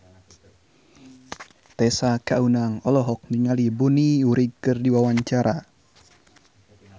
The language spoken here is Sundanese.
Tessa Kaunang olohok ningali Bonnie Wright keur diwawancara